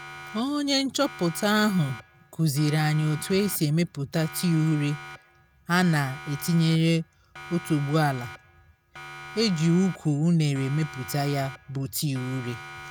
onye nchọpụta ahụ kuziri anyi otu esi emeputa tii ure a na-etinyere otuboala. eji ukwu unere emeputa ya bụ tii ure